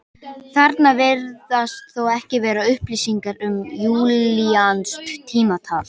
Þarna virðast þó ekki vera upplýsingar um júlíanskt tímatal.